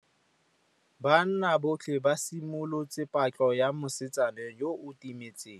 Banna botlhê ba simolotse patlô ya mosetsana yo o timetseng.